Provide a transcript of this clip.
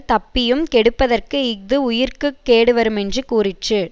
தப்பியும் கெடுப்பதற்கு இஃது உயிர்க்கு கேடுவருமென்று கூறிற்று